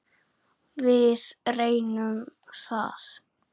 Við reynum það.